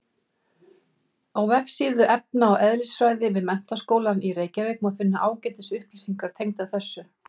Á vefsíðu efna- og eðlisfræði við Menntaskólann í Reykjavík má finna ágætis upplýsingar tengdar þessu.